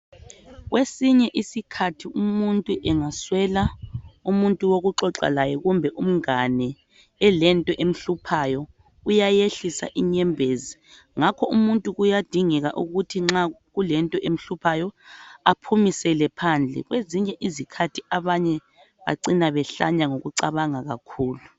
Kwesinye isikhathi umuntu engaswela umuntu wokuxoxa laye kumbe umngane elento emhluphayo uyayehlisa inyembezi, ngakho muntu kuyadingeka ukuthi nxa kulento emhluphayo aphumisele phandle kwezinye izikhathi abanye bacina behlanya ngokucabanga kakhulu.